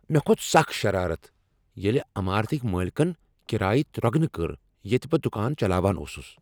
مےٚكھو٘ت سخ شرارت ییٚلہ عٮ۪مارتٕكۍ مٲلکن کرایہ ترٛۄگنہٕ کٔر ییٚتہ بہٕ دکان چلاوان اوسٗس ۔